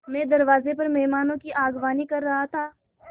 मैं दरवाज़े पर मेहमानों की अगवानी कर रहा था